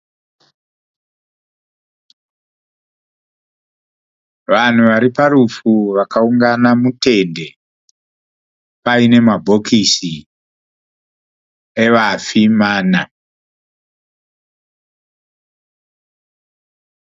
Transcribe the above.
Vanhu vari parufu vakaungana mutende paine mabhokisi evafi , mana .